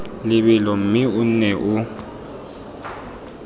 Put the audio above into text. lebelo mme o nne o